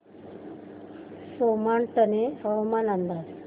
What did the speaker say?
सोमाटणे हवामान अंदाज